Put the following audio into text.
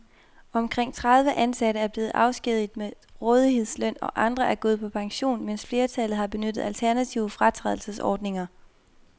Omkring tredive ansatte er blevet afskediget med rådighedsløn, andre er gået på pension, mens flertallet har benyttet alternative fratrædelsesordninger.